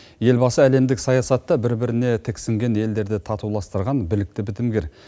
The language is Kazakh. елбасы әлемдік саясатта бір біріне тіксінген елдерді татуластырған білікті бітімгер